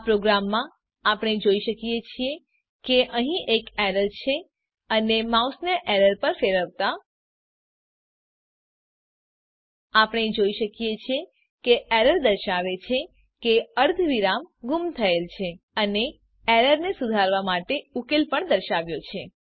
આ પ્રોગ્રામમાં આપણે જોઈ શકીએ છીએ કે અહીં એક એરર છે અને માઉસને એરર પર ફેરવતા આપણે જોઈ શકીએ છીએ કે એરર દર્શાવે છે કે અર્ધ વિરામ ગુમ થયેલ છે અને એરરને સુધારવા માટે ઉકેલ પણ દર્શાવાયો છે